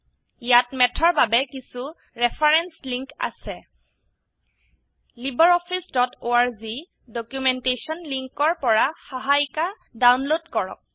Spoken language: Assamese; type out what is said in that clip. ইয়াত ম্যাথ ৰ বাবে কিছু ৰেফাৰেন্স লিঙ্ক আছে libreofficeঅৰ্গ ডকুমেন্টেশন লিঙ্কৰ পৰা সহায়িকা ডাউনলোড কৰক